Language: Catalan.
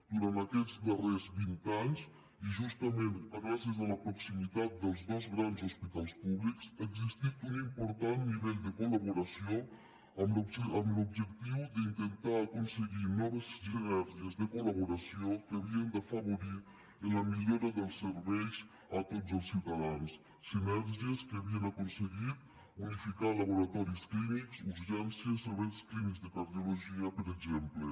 durant aquests darrers vint anys i justament gràcies a la proximitat dels dos grans hospitals públics ha existit un important nivell de col·laboració amb l’objectiu d’intentar aconseguir noves sinergies de col·laboració que havien d’afavorir la millora dels serveis a tots els ciutadans sinergies que havien aconseguit unificar laboratoris clínics urgències serveis clínics de cardiologia per exemple